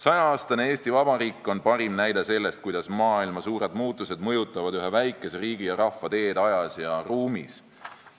100-aastane Eesti Vabariik on parim näide selle kohta, kuidas maailma suured muutused mõjutavad ühe väikese riigi ja rahva teed ajas ja ruumis.